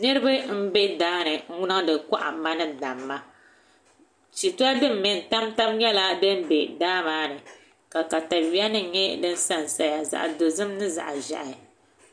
Niraba n bɛ daani n niŋdi kohamma ni damma shitori din mɛ n tamtam nyɛla din bɛ daa maa ni ka katawiya nim nyɛ din sansaya zaɣ dozim ni zaŋ ʒiɛhi